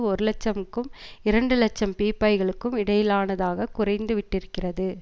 ஒரு இலட்சம்க்கும் இரண்டு இலட்சம் பீப்பாய்களுக்கும் இடையிலானதாக குறைந்து விட்டிருக்கிறது